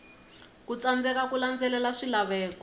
ku tsandzeka ku landzelela swilaveko